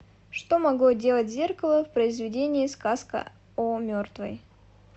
что могло делать зеркало в произведении сказка о мертвой